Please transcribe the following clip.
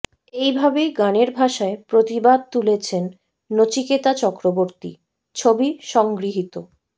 এই ভাবেই গানের ভাষায় প্রতিবাদ তুলেছেন নচিকেতা চক্রবর্তী ছবি সংগৃহীত